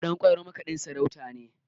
Ɗanƙwairo makaɗin sarautar ne